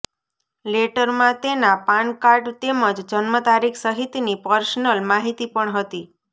લેટરમાં તેના પાનકાર્ડ તેમજ જન્મ તારીખ સહિતની પર્સનલ માહિતી પણ હતી